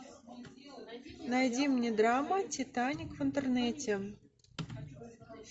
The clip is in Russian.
найди мне драма титаник в интернете